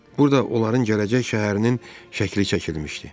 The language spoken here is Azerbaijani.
Burada onların gələcək şəhərinin şəkli çəkilmişdi.